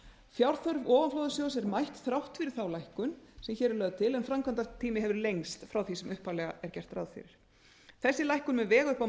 fjárþörf ofanflóðasjóðs er mætt þrátt fyrir þá lækkun sem hér er lögð til en framkvæmdatími hefur lengst frá því sem upphaflega er gert ráð fyrir þessi lækkun mun vega upp á